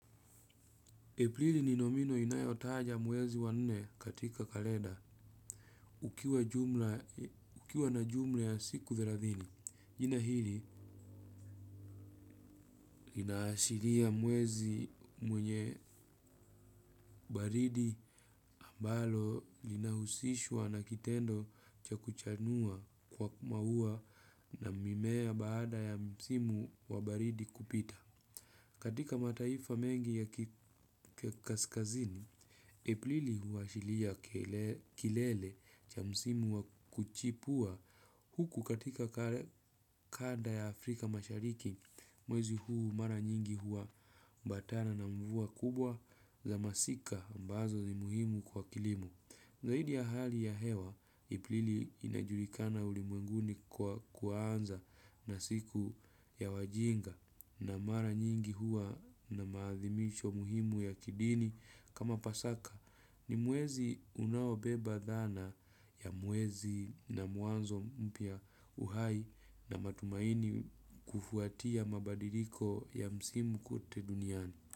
Aprili ni nomino inayotaja mwezi wa nne katika kalenda ukiwa na jumla ya siku thelathini. Jina hili lina ashiria mwezi mwenye baridi ambalo linahusishwa na kitendo cha kuchanua kwa maua na mimea baada ya msimu wa baridi kupita. Katika mataifa mengi ya kaskazini, Aprili huashiria kilele cha msimu wa kuchipua huku katika kanda ya Afrika mashariki, mwezi huu mara nyingi huambatana na mvua kubwa za masika ambazo ni muhimu kwa kilimo. Zaidi ya hali ya hewa, Aprili inajulikana ulimwenguni kwa kuanza na siku ya wajinga na mara nyingi huwa na maadhimisho muhimu ya kidini kama pasaka ni mwezi unaobeba dhana ya mwezi na mwanzo mpya uhai na matumaini kufuatia mabadiliko ya msimu kote duniani.